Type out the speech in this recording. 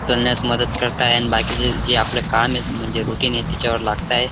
चलण्यास मदत करताय आणि बाकीचे जे आपलं काम आहे म्हणजे रुटीन ये त्याच्या वर लागताय.